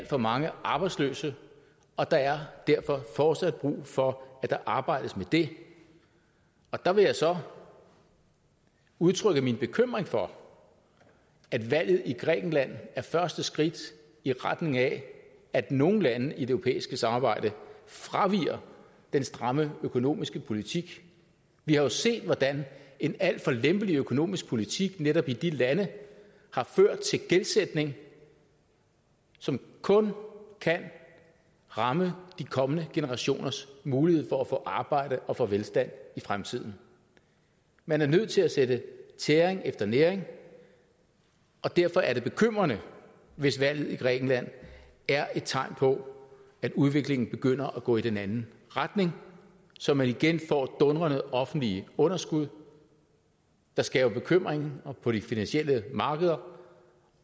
for mange arbejdsløse og der er derfor fortsat brug for at der arbejdes med det der vil jeg så udtrykke min bekymring for at valget i grækenland er første skridt i retning af at nogle lande i det europæiske samarbejde fraviger den stramme økonomiske politik vi har jo set hvordan en alt for lempelig økonomisk politik netop i de lande har ført til en gældsætning som kun kan ramme de kommende generationers mulighed for at få arbejde og få velstand i fremtiden man er nødt til at sætte tæring efter næring og derfor er det bekymrende hvis valget i grækenland er tegn på at udviklingen begynder at gå i den anden retning så man igen får dundrende offentlige underskud der skaber bekymring på de finansielle markeder